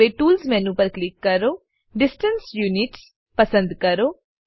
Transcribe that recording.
હવે tools menu પર click કરો ડિસ્ટન્સ યુનિટ્સ પસંદ કરો